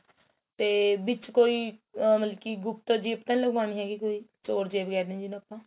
ਤੇ ਵਿੱਚ ਕੋਈ ਮਤਲਬ ਕੋਈ ਗੁਪਤ zip ਤਾਂ ਨਹੀਂ ਲਗਵਾਣੀ ਹੈਗੀ ਕੋਈ ਚੋਰ ਜੇਬ ਕਹਿ ਦਿੰਦੇ ਆ ਜਿਹਨੂੰ ਆਪਾਂ